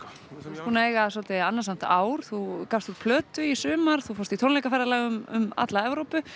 þú ert búinn að eiga svolítið annasamt ár þú gafst út plötu í sumar þú fórst í tónleikaferðalag um alla Evrópu